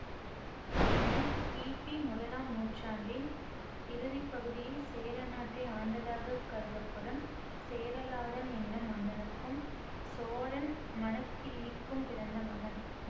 இவன் கிபி முதலாம் நூற்றாண்டின் இறுதி பகுதியில் சேரநாட்டை ஆண்டதாகக் கருதப்படும் சேரலாதன் என்னும் மன்னனுக்கும் சோழன் மணக்கிள்ளிக்கும் பிறந்த மகன்